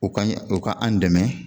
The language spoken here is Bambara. U ka u ka an dɛmɛ